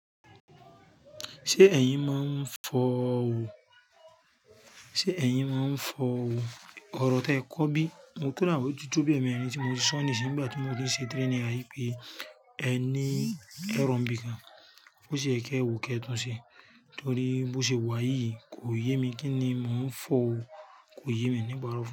Ṣé ẹ̀yin máa ń fọ òwò? Ṣé ẹ̀yin máa ń fọ òwò? Ọ̀rọ̀ tí ẹ kọ́ bí, mo kùnú àwọn ètùtù bí ẹni tí mo ti sọ nísìnyí nígbà tí mo ti ń ṣe trainer yí pé ẹ ní ẹran bí i kan, bó ṣe é kẹ́ẹ wò, kí ẹ tún ṣe. Nítorí bó ṣe wà yíyí kò yé mi kíni, mò ń fọ òwò kò yé mi nípa ọ̀rọ̀ fún.